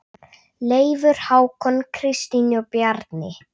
Leifur, Hákon, Kristín og Bjarni.